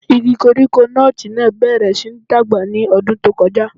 Igi koríko nọ́ọ̀tì náà bẹ̀rẹ̀ síi dàgbà ní ọdún tó kọjá.